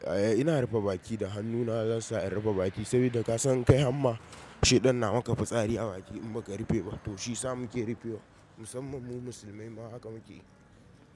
Eh ina rufe baki da hannuna zan sa in rufe baki saboda kasan kai hamma shaiɗan na maka fitsari a baki in baka rufe ba to shi sa muke rufe wa musamman mu musulmai ma haka muke yi.